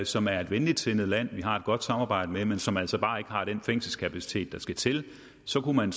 som er et venligtsindet land vi har et godt samarbejde med men som altså bare ikke har den fængselskapacitet der skal til og så kunne man